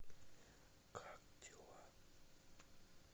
как дела